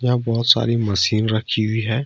यहां पर बहुत सारी मशीन रखी हुई है।